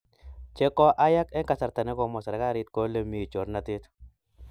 che koayak eng kasarta ne komwa serekalit kole mi chornatet